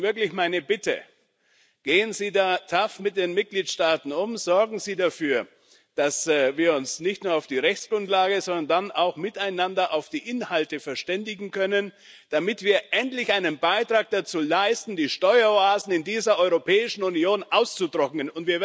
Deswegen wirklich meine Bitte Gehen Sie da tough mit den Mitgliedstaaten um, sorgen Sie dafür, dass wir uns nicht nur auf die Rechtsgrundlage, sondern dann auch miteinander auf die Inhalte verständigen können, damit wir endlich einen Beitrag dazu leisten, die Steueroasen in dieser Europäischen Union auszutrocknen.